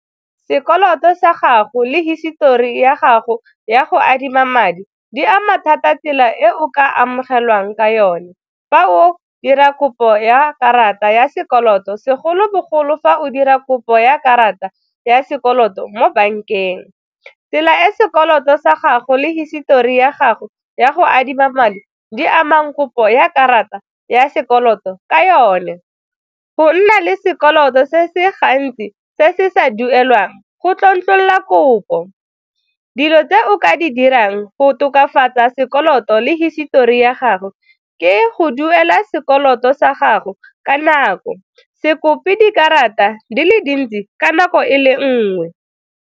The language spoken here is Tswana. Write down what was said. Sekoloto sa gago le hisetori ya gago ya go adima madi di ama thata tsela e o ka amogelwang ka yone fa o dira kopo ya karata ya sekoloto segolobogolo fa o dira kopo ya karata ya sekoloto mo bankeng. Tsela e sekoloto sa gago le hisitori ya gago ya go adima madi di amang kopo ya karata ya sekoloto ka yone, go nna le sekoloto se se gantsi se se sa duelwang go tlontlolola la kopo. Dilo tse o ka di dirang go tokafatsa sekoloto le hisitori ya gago ke go duela sekoloto sa gago ka nako, se kope dikarata di le dintsi ka nako e le nngwe.